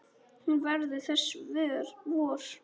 Hún verður þess vör.